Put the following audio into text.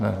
Ne.